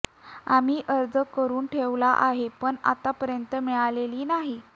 आम्ही अर्ज करून ठेवला आहे पण आतापर्यंत मिळालेली नाही